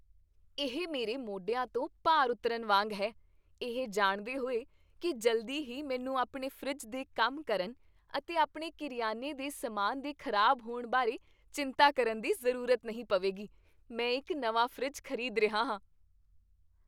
ਇਹ ਮੇਰੇ ਮੋਢਿਆਂ ਤੋਂ ਭਾਰ ਉਤਰਨ ਵਾਂਗ ਹੈ, ਇਹ ਜਾਣਦੇ ਹੋਏ ਕੀ ਜਲਦੀ ਹੀ ਮੈਨੂੰ ਆਪਣੇ ਫਰਿੱਜ ਦੇ ਕੰਮ ਕਰਨ ਅਤੇ ਆਪਣੇ ਕਰਿਆਨੇ ਦੇ ਸਮਾਨ ਦੇ ਖ਼ਰਾਬ ਹੋਣ ਬਾਰੇ ਚਿੰਤਾ ਕਰਨ ਦੀ ਜ਼ਰੂਰਤ ਨਹੀਂ ਪਵੇਗੀ। ਮੈਂ ਇੱਕ ਨਵਾਂ ਫਰਿੱਜ ਖ਼ਰੀਦ ਰਿਹਾ ਹਾਂ।